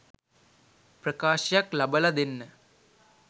ප්‍රකාශයක් ලබල දෙන්න?